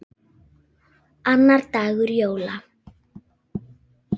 Annar dagur jóla.